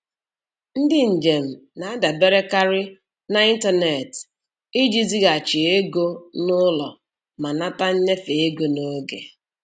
Ndị njem na-adaberekarị n'ịntaneetị iji zighachi ego n'ụlọ ma nata nnyefe ego n'oge.